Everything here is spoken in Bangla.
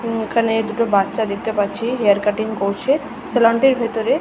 এইখানে দুটো বাচ্চা দেখতে পারছি। হেয়ার কাটিং করছে সেলন টির ভিতরে--